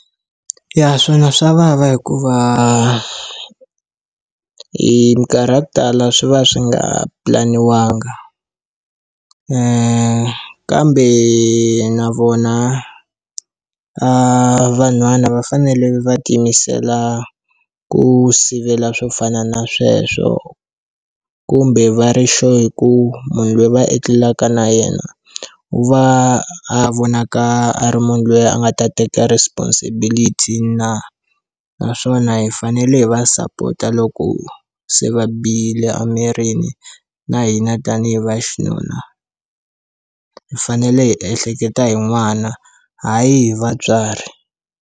Ya swona swa vava hikuva hi minkarhi ya ku tala swi va swi nga pulaniwanga kambe na vona vanhwana va fanele va tiyimisela ku sivela swo fana na sweswo kumbe va ri sure hi ku munhu loyi va etlelaka na yena u va a vonaka a ri munhu loyi a nga ta teka responsibility na naswona hi fanele hi va sapota loko se va bihile emirini na hina tanihi va xinuna hi fanele hi ehleketa hi n'wana hayi hi vatswari.